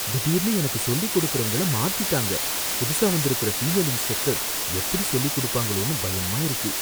திடீர்னு எனக்கு சொல்லிக் கொடுக்கறவங்கள மாத்திட்டாங்க, புதுசா வந்துருக்கற ஃபீமேல் இன்ஸ்ட்ரக்டர் எப்படி சொல்லிக் கொடுப்பாங்களோனு பயமா இருக்கு.